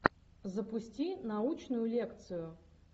запусти научную лекцию